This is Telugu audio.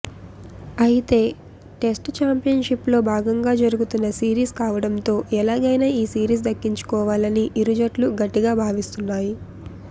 అయితే టెస్ట్ ఛాంపియన్షిప్లో భాగంగా జరుగుతున్న సిరీస్ కావడంతో ఎలాగైనా ఈ సిరీస్ దక్కించుకోవాలని ఇరు జట్లు గట్టిగా భావిస్తున్నాయి